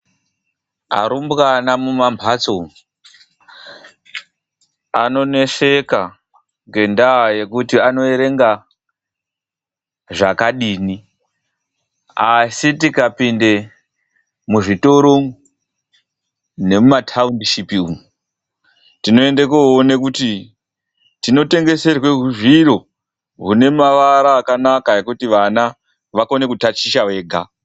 Arumbwana mumambatso umwu, anoneseka ngendaa yekuti anoerenga zvakadini. Asi tikapinde muzvitoro umwu nemumataundishipi umwu, tinoende kunoone kuti tinotengeserwe huzviro zvine maara akanaka ekuti vana vakone kutaticha vega.